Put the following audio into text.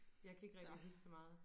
Jeg kan ikke rigtig huske så meget